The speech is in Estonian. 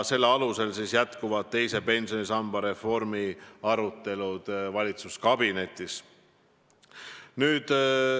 Selle alusel jätkuvad teise pensionisamba reformi arutelud valitsuskabinetis.